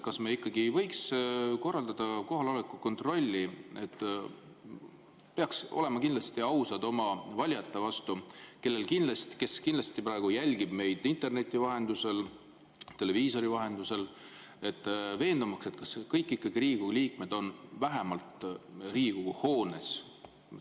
Kas me ei võiks korraldada kohaloleku kontrolli – peaksime olema ausad oma valijate vastu, kes kindlasti praegu jälgivad meid interneti ja televiisori vahendusel –, veendumaks, et kõik Riigikogu liikmed on vähemalt Riigikogu hoones?